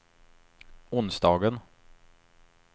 onsdagen